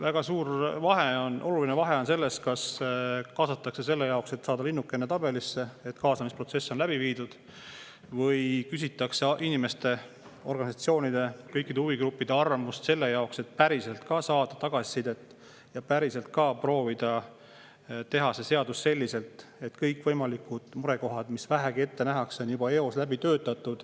Väga suur vahe, oluline vahe on selles, kas kaasatakse selle jaoks, et saada linnukene, et kaasamisprotsess on läbi viidud, või küsitakse inimeste, organisatsioonide, kõikide huvigruppide arvamust selle jaoks, et päriselt ka saada tagasisidet ja proovida teha seda seadust selliselt, et kõikvõimalikud murekohad, mida vähegi ette nähakse, on juba eos läbi töötatud.